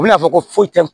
U bɛna fɔ ko foyi tɛ